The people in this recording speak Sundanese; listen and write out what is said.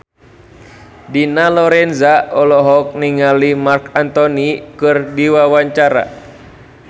Dina Lorenza olohok ningali Marc Anthony keur diwawancara